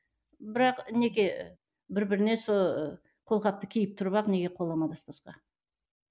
бірақ неге бір біріне сол қолғапты киіп тұрып ақ неге қол амандаспасқа